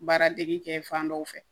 Baaradege kɛ fan dɔ fɛ